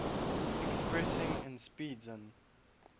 expressing n speeds n